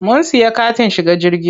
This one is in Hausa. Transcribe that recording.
Mun siya katin shiga jirgi.